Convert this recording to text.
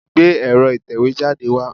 Gbé ẹ̀rọ ìtẹ̀wẹ́ jáde wá.